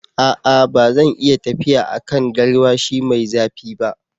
A'a! ba zan iya tafiya a kan garwashi mai zafi ba.